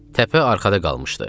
Təpə arxada qalmışdı.